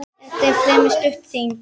Þetta var fremur stutt þing.